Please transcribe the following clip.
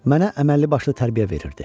Mənə əməlli başlı tərbiyə verirdi.